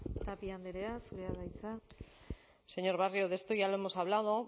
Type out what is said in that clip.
tapia andrea zurea da hitza señor barrio esto ya lo hemos hablado